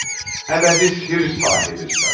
Əbədi sirr sahibisən.